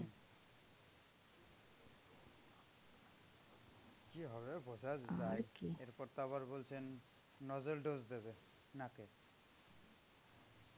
কি হবে বোঝা যাচ্ছে না এর পর তো আবার বলছে nasal dose দেবে, নাকে.